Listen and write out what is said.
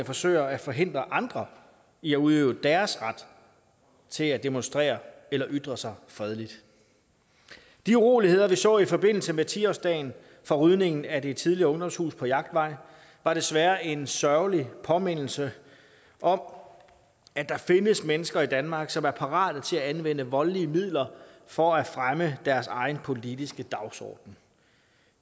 forsøger at forhindre andre i at udøve deres ret til at demonstrere eller ytre sig fredeligt de uroligheder vi så i forbindelse med ti årsdagen for rydningen af det tidligere ungdomshus på jagtvej var desværre en sørgelig påmindelse om at der findes mennesker i danmark som er parate til at anvende voldelige midler for at fremme deres egen politiske dagsorden